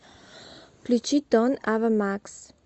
включи торн ава макс